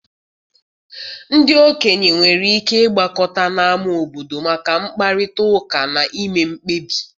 Ndị okenye nwere ike ịgbakọta n' ámá obodo maka mkparịta ụka na ime mkpebi.